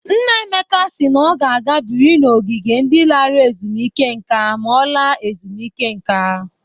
Nna Emeka si na ọ ga-aga biri n'ogige ndị lara ezumeike nka ma ọ laa ezumụike nka.